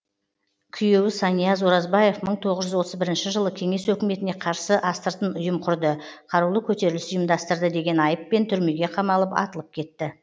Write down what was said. күйеуі санияз оразбаев мың тоғыз жүз отыз бірінші жылы кеңес өкіметіне қарсы астыртын ұйым құрды қарулы көтеріліс ұйымдастырды деген айыппен түрмеге қамалып атылып кетті